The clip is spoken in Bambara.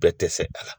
Bɛɛ tɛ fɛ a la